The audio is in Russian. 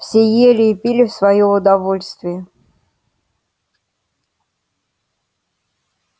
все ели и пили в своё удовольствие